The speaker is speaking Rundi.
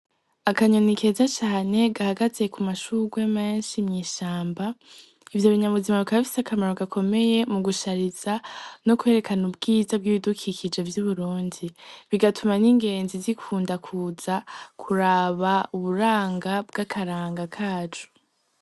Akanyoni keza cane gahagaze ku mashurwe menshi mw'ishamba, ivyo binyabuzima bikaba bifise akamaro gakomeye mu gushariza no kwerekana ubwiza bw'ibidukikije vy'Uburundi, bigatuma n'ingenzi zikunda kuza kuraba uburanga bw'akaranga kacu.